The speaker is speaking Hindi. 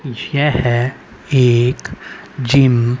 यह एक जिम --